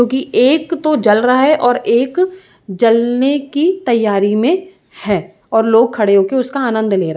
जो कि एक तो जल रहा है और एक जलने की तैयारी में है और लोग खड़े होकर उसका आनंद ले रहे --